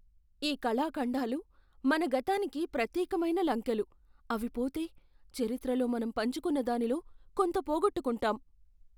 ఈ కళాఖండాలు మన గతానికి ప్రత్యేకమైన లంకెలు, అవి పోతే, చరిత్రలో మనం పంచుకున్న దానిలో కొంత పోగొట్టుకుంటాం.